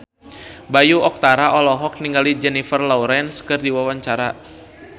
Bayu Octara olohok ningali Jennifer Lawrence keur diwawancara